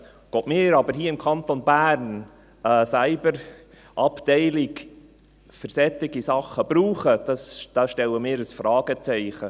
Ob wir aber hier im Kanton Bern eine Cyberabteilung für solche Dinge brauchen, dahinter setzen wir ein Fragezeichen.